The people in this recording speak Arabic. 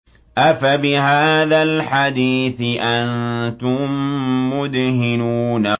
أَفَبِهَٰذَا الْحَدِيثِ أَنتُم مُّدْهِنُونَ